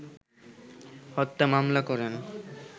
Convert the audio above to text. হত্যা মামলা করেন